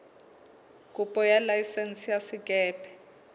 kopo ya laesense ya sekepe